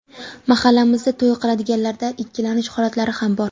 Mahallamizda to‘y qiladiganlarda ikkilanish holatlari ham bor.